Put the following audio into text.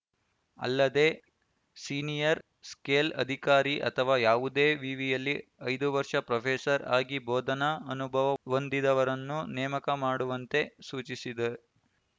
ಅಲ್ಲದೇ senior scale ಅಧಿಕಾರಿ ಅಥವಾ ಯಾವುದೇ ವಿವಿಯಲ್ಲಿ ಐದು ವರ್ಷ ಪ್ರೊಫೆಸರ್‌ ಆಗಿ ಬೋಧನಾ ಅನುಭವ ಹೊಂದಿದವರನ್ನು ನೇಮಕ ಮಾಡುವಂತೆ ಸೂಚಿಸಿದೆ